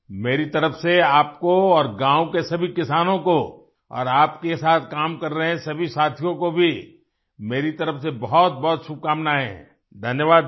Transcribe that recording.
मेरी तरफ से आपको और गांव के सभी किसानों को और आपके साथ काम कर रहे सभी साथियों को भी मेरी तरफ से बहुतबहुत शुभकामनाएं धन्यवाद भैया